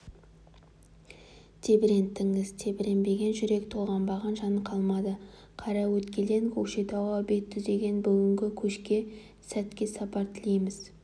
тебіренттіңіз тебіренбеген жүрек толғанбаған жан қалмады қараөткелден көкшетауға бет түзеген бүгінгі көшке сәт сапар тілейміз